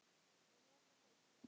En er þetta íþrótt?